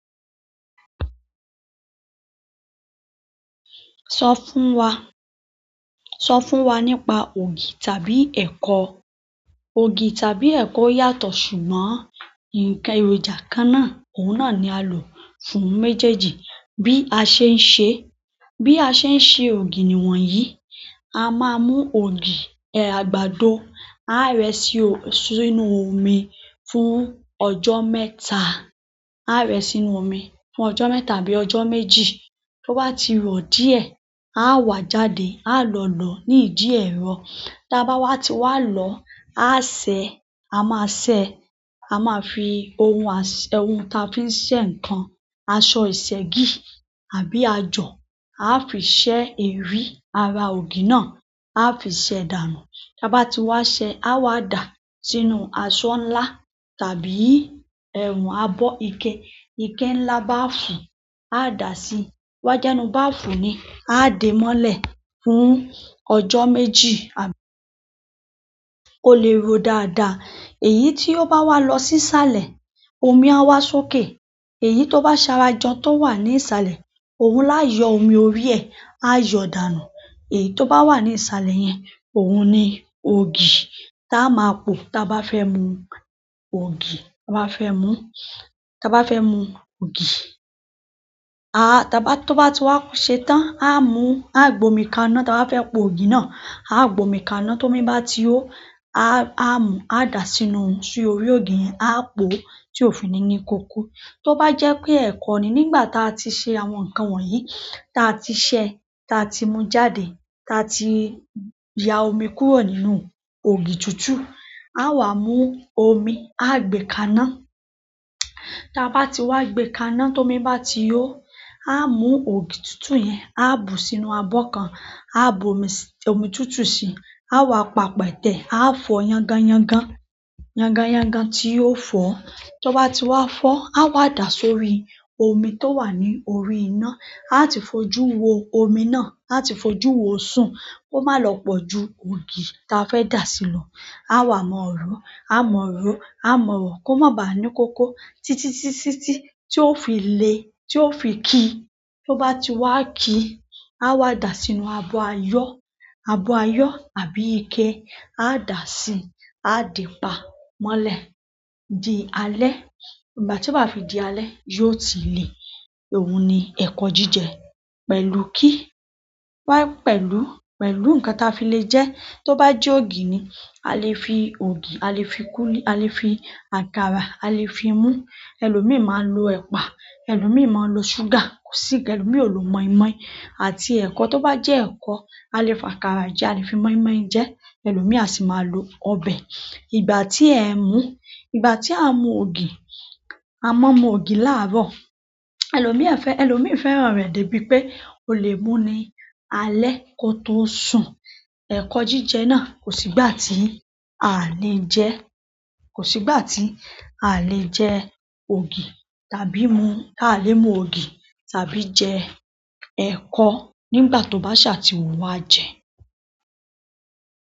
Sọ fún wa, sọ fún wa nípa ògì tàbí ẹ̀kọ. Ògì tàbí ẹ̀kọ yàtọ̀ ṣùgbọ́n, ǹkan èròjà kan náà, òun náà ni a lò fún méjèèjì. Bí a ṣe ń ṣe, bí a ṣe ń ṣe ògì niwọ̀nyí, a máa mú ògì, ẹ̀, àgbàdo, á rẹ́ sí, sínú omi fún ọjọ mẹ́ta. A á rẹ́ẹ sínú omi fún ọjọ mẹ́ta àbí ọjọ méjì. To ba ti ro díẹ̀ a o wa jáde. A lọ lọ ní ìdí ẹ̀rọ. Tá bá ti wá lọ, a ṣẹ̀, a máa ṣẹ̀, a máa fi ohun aṣẹ, ohun ta fi ń ṣe ǹkan, aṣọ ìṣẹ́gi àbí àjọ̀, a fi ṣẹ́ erí ara ògì náà, a fi ṣẹ̀ dànù. Tá bá ti wá ṣẹ, a wá dà á sínú aṣọ ńlá tàbí ẹ̀un abọ́ ike. Ike ńlá báafùn, a dà á sí. To ba je inú báafùn ni, a dè ẹ́ mọ́lẹ̀ fún ọjọ́ mẹ́jii àbí. O lè ro dáadáa. Èyí ti o bawa lo sisale omi a wa sókè. Èyí tó bá ṣara jọ tó wà ní ìsàlẹ̀, òun lá yọ omi orí ẹ, á yọ dànù. Èyí tó bá wà ní ìsàlẹ̀ yẹn, òun ni ògì tá a máa po. Tá a bá fẹ́ mú ògì, tá a bá fẹ́ mú, tá a bá fẹ́ mú ògì, a, tá bá, tó bá ti wá ṣètan, a mú, a gbe omi kaná tá a bá fẹ́ po ògì náà. A gbomi kaná. Tómi bá ti ho, a, a mu, a dà á sínú, sínú si orí ògì yẹn, a po ó tí ò fin ni ní kòko. To ba je pe eko ni nígbà ti a ti se àwọn nkan wọ̀nyí ta ti se ta ti mu jáde ta ti ya omi kúrò nínú ògì tutu awa mu omi aa gbe kaná táa bá ti wá gbe kaná tómi bá ti hó, a mú ògì túntún yẹn, a bù ú sínú abọ́ kan. A bù omi, omi túntún sì í. A wá pa pẹtẹ, a fọ yangányangán. Yangányangán tí yóò fọ. Tó bá ti wá fọ, a wá dà á sórí omi tó wà ní orí iná. A ti fojú wo omi náà, a ti fojú wo o sún. Ko má lọ pọ̀ ju ògì tá a fẹ́ dà sí lọ. A wá mọ̀ ọ́ ro. A mọ̀ ọ́ ro, a mọ̀ ọ́ ro, kó má bà á ní kòkó. Títítí tí ó fi le, tí ó fi ki. To ba ti wa kii awa daa sínú abo aayo tàbí ike. A dà á sí, a dè e pà mọ́lẹ̀ dí alẹ́. Ìgbà tí yóò bá fi dí alẹ́, yóò ti le. Òun ni ẹ̀kọ jíjẹ pẹ̀lú kí wá, pẹ̀lú, pẹ̀lú nǹkan táa fi le jẹ. Tó bá jẹ́ ògì ni, a lè fi ògì, a lè fi kúlí, a lè fi àkàrà, a lè fi mú. Èlomíì máa lọ ẹ̀pà, èèyàn míì máa ń lo sugar, kò sí nkan elomii nló mọ̀í-mọ́í. Àti ẹ̀kọ tó bá jẹ́ ẹ̀kọ, a lè fi àkàrà jẹ, a lè fi mọ̀í-mọ́í jẹ, èlomii a sì máa lo ọbẹ̀. Ìgbà tí ẹ mú, ìgbà tí a mú ògì, a máa mú ògì láàárọ̀. Èlomii fẹ́, èlomii fẹ́ràn rẹ̀ débi pé ó lè mú ní alẹ́ kó tó sùn. Ẹ̀kọ jíjẹ náà kò sí ìgbà tí a lè jẹ́. Kò sí ìgbà tí a lè jẹ ògì tàbí mú. Aàlẹ́ mú ògì tàbí jẹ ẹ̀ko nígbà tó bá ṣà tí wun wá jẹ.